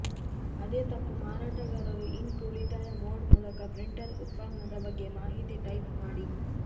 ಅದೇ ತಪ್ಪು ಮಾರಾಟಗಾರರು ಇಂಕ್ ಉಳಿತಾಯ ಮೋಡ್ ಮೂಲಕ ಪ್ರಿಂಟರ್ ಉತ್ಪನ್ನದ ಬಗ್ಗೆ ಮಾಹಿತಿ ಟೈಪ್ ಮಾಡಿ